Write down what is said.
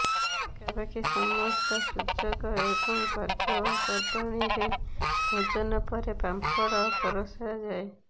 ପାଖାପାଖି ସମସ୍ତ ସୁଯୋଗ ଏବଂ ପର୍ବପର୍ବାଣୀରେ ଭୋଜନ ପରେ ପାମ୍ପଡ ପରଷା ଯାଏ